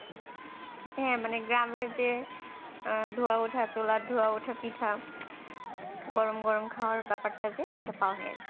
হ্যাঁ মানে গ্রামের যে আহ ধোঁয়া ওঠা চুলার ধোঁয়া ওঠা পিঠা গরম গরম খাওয়ার ব্যাপারটা যে ওটা পাওয়া হইয়া গেছে